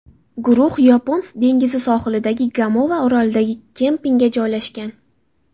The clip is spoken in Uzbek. Guruh Yapon dengizi sohilidagi Gamova yarimorolidagi kempingga joylashgan.